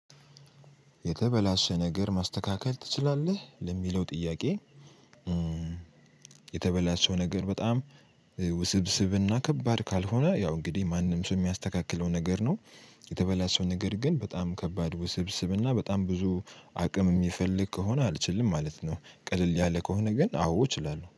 የተበላሸ ነገር ማስተካከል ትችላለህ? ለሚለው ጥያቄ የተበላሸው ነገር በጣም ውስብስብና ከባድ ካልሆነ ያው እንግዲህ ማንም ሰው የሚያስተካክለው ነገር ነው የተበላሸው ነገር ግን በጣም ከባድ ውስብስብ እና በጣም ብዙ አቅም የሚፈልግ ከሆነ አልችልም ማለት ነው ቀለል ያለ ከሆነ ግን አዎ እችላለሁ